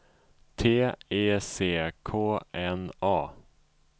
T E C K N A